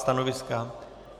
Stanoviska.